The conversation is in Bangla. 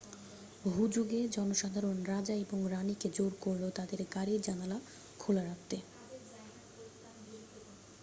হুজুগে জনসাধারণ রাজা এবং রাণী কে জোর করল তাদের গাড়ির জানালা খোলা রাখতে